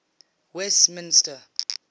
westminster